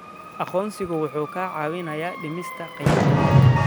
Aqoonsigu wuxuu kaa caawinayaa dhimista khiyaanada.